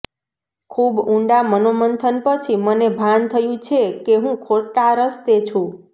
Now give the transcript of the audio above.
ખૂબ ઊંડા મનોમંથન પછી મને ભાન થયું છે કે હું ખોટા રસ્તે છું